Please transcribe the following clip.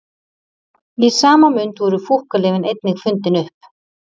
Í sama mund voru fúkkalyfin einnig fundin upp.